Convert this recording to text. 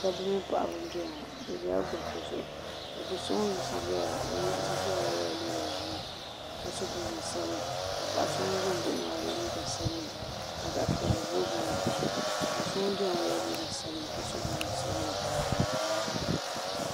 Dabi mini paɣaba n doya ŋɔ bɛ dola gariti zuɣu kadoso ŋun yiɣisi n ʒiya yela liiga ʒɛɛ ka paɣa so ŋun ʒi n baɣɔ maa ye liiga sabinli ka piɛli boo boo dipuuni doso ŋun doya ŋɔ yela liiga sabinli ka so jinjam sabinli